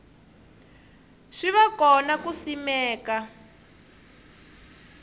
swi va kona ku simeka